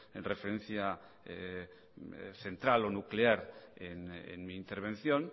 referencia central o nuclear en mi intervención